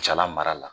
Jala mara la